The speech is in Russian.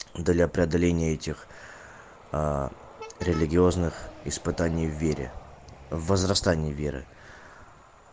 для преодоления этих религиозных испытаний в вере в возрастании веры